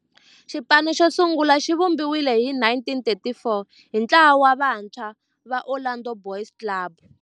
Xipano xosungula xivumbiwile hi 1934 hi ntlawa wa vantshwa va Orlando Boys Club.